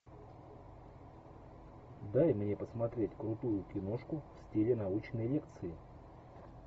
дай мне посмотреть крутую киношку в стиле научной лекции